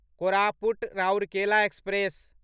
Koraput Rourkela express